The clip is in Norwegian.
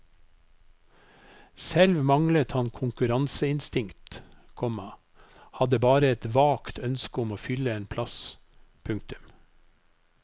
Selv manglet han konkurranseinstinkt, komma hadde bare et vagt ønske om å fylle en plass. punktum